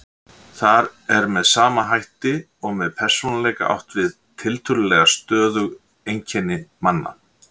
Þar er með sama hætti og með persónuleika átt við tiltölulega stöðug einkenni manna.